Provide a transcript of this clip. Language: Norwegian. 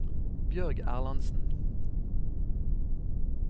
Bjørg Erlandsen